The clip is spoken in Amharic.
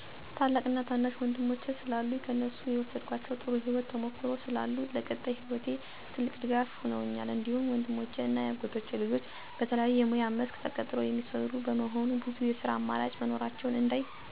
ታላቅ እና ታናሽ ወንድሞቼ ስላሉኝ ከእነሱ የወሰድኳቸው ጥሩ የህይወት ተሞክሮ ስላሉ ለቀጣይ ህይወቴ ትልቅ ድጋፍ ሁነውኛል። እንዲሁም ወንድሞቼ እና የአጎቴ ልጆች በተለየ የሙያ መስክ ተቀጥረው የሚሰሩ በመሆኑ ብዙ የስራ አማራጮች መኖራቸውን እንዳይ እና የትኞቹ የተሻሉ የስራ እድል መሆናቸውን እና ጥሩ ገቢ ያላቸው የስራ መስኮች እንደሆኑ እንዳይ አድርገውኛል።